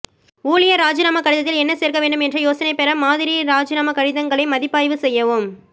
ஊழியர் இராஜிநாமா கடிதத்தில் என்ன சேர்க்க வேண்டும் என்ற யோசனை பெற மாதிரி ராஜினாமா கடிதங்களை மதிப்பாய்வு செய்யவும்